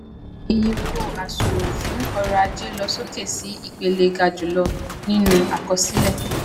ìyè owó àsùnwòn fún oròajé ló sókè sí ìpele gajulo nínú àkọsílẹ